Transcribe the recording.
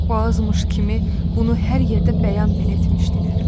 Bu azmış kimi bunu hər yerdə bəyan belə etmişdilər.